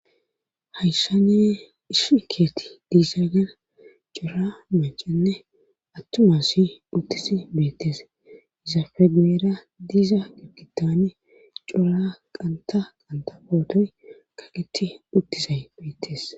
Hayssan issi keetha dizagan cora maccane atuma asi utizi beetees. entappe goyra diza gidon qanththa qanththa pootoy kaqeti utizay betees.